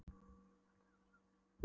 Ef hún átti að vera alveg hreinskilin.